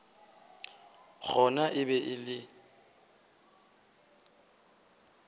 gona e be e le